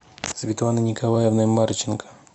светланой николаевной марченко